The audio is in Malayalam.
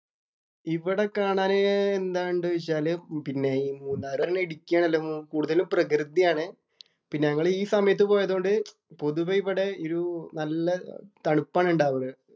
ഇവിടെ കാണാന് എന്താ ഒണ്ട് വെച്ചാല് പിന്നെ ഈ മൂന്നാർ ഇടുക്കി ആണല്ലോ. കൂടുതലും പ്രകൃതിയാണ്. പിന്നെ ഞങ്ങൾ ഈ സമയത്ത് പോയതുകൊണ്ട് പൊതുവേ ഇവിടെ നല്ല ഒരു തണുപ്പാണ് ഉണ്ടാവണേ.